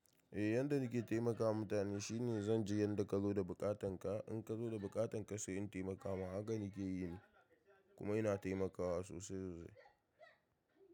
Eh, yanda nake taimakawa mutane shine zan ji yanda ka zo da buƙatanka. In ka zo da buƙatanka, sai in taimaka ma. Haka nake yi, kuma ina taimakawa sosai yanzu.